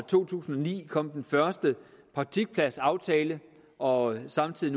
to tusind og ni kom den første praktikpladsaftale og samtidig